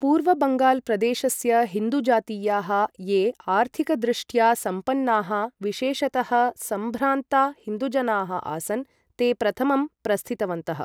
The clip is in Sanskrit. पूर्व बङ्गाल् प्रदेशस्य हिन्दु जातीयाः, ये आर्थिकदृष्ट्या सम्पन्नाः, विशेषतः सम्भ्रान्ता हिन्दुजनाः आसन्, ते प्रथमं प्रस्थितवन्तः।